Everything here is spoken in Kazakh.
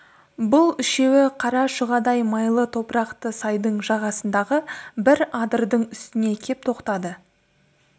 бұл үшеуі қара шұғадай майлы топырақты сайдың жағасындағы бір адырдың үстіне кеп тоқтады